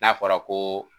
N'a fɔra ko